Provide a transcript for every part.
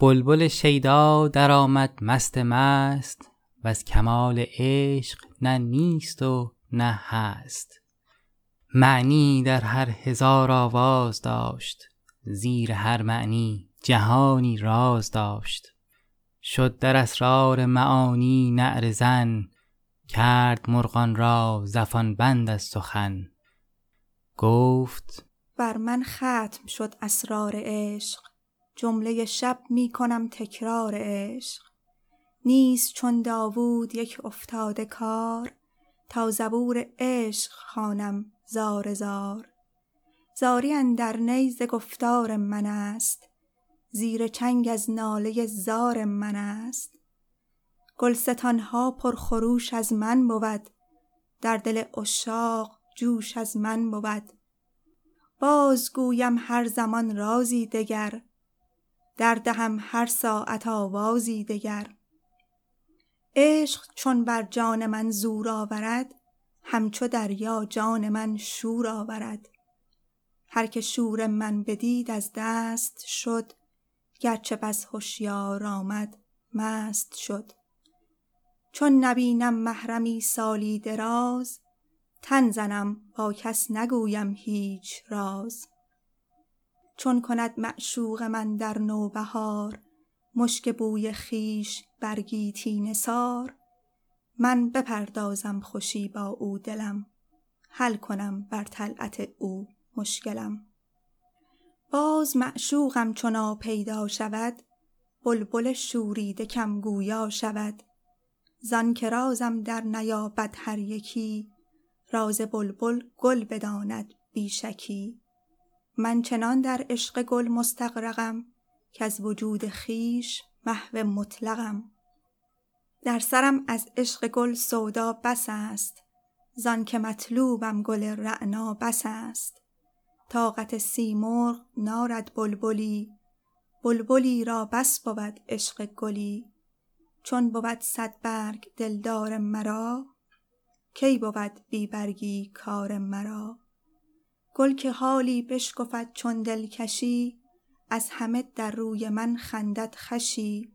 بلبل شیدا درآمد مست مست وز کمال عشق نه نیست و نه هست معنیی در هر هزار آواز داشت زیر هر معنی جهانی راز داشت شد در اسرار معانی نعره زن کرد مرغان را زفان بند از سخن گفت بر من ختم شد اسرار عشق جمله شب می کنم تکرار عشق نیست چون داوود یک افتاده کار تا زبور عشق خوانم زار زار زاری اندر نی ز گفتار من است زیر چنگ از ناله زار من است گل ستان ها پر خروش از من بود در دل عشاق جوش از من بود بازگویم هر زمان رازی دگر در دهم هر ساعت آوازی دگر عشق چون بر جان من زور آورد همچو دریا جان من شور آورد هر که شور من بدید از دست شد گر چه بس هشیار آمد مست شد چون نبینم محرمی سالی دراز تن زنم با کس نگویم هیچ راز چون کند معشوق من در نوبهار مشک بوی خویش بر گیتی نثار می بپردازد خوشی با او دلم حل کنم بر طلعت او مشکلم باز معشوقم چو ناپیدا شود بلبل شوریده کم گویا شود زآنک رازم درنیابد هر یکی راز بلبل گل بداند بی شکی من چنان در عشق گل مستغرقم کز وجود خویش محو مطلقم در سرم از عشق گل سودا بس است زآنک مطلوبم گل رعنا بس است طاقت سیمرغ نارد بلبلی بلبلی را بس بود عشق گلی چون بود صد برگ دلدار مرا کی بود بی برگیی کار مرا گل که حالی بشکفد چون دلکشی از همه در روی من خندد خوشی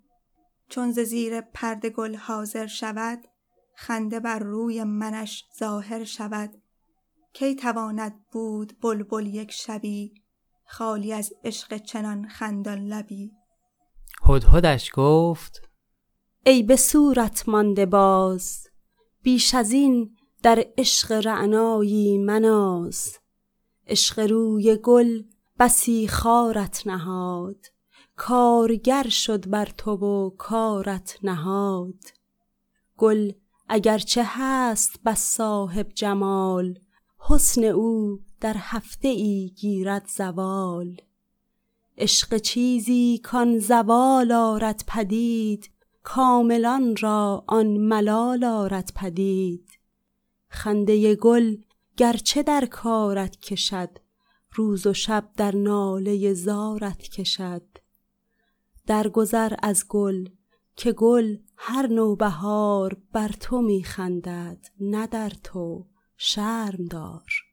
چون ز زیر پرده گل حاضر شود خنده بر روی منش ظاهر شود کی تواند بود بلبل یک شبی خالی از عشق چنان خندان لبی هدهدش گفت ای به صورت مانده باز بیش از این در عشق رعنایی مناز عشق روی گل بسی خارت نهاد کارگر شد بر تو و کارت نهاد گل اگر چه هست بس صاحب جمال حسن او در هفته ای گیرد زوال عشق چیزی کآن زوال آرد پدید کاملان را آن ملال آرد پدید خنده گل گر چه در کارت کشد روز و شب در ناله زارت کشد درگذر از گل که گل هر نوبهار بر تو می خندد نه در تو شرم دار